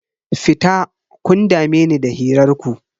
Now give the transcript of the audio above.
Fita, kun dame ni da hirar ku.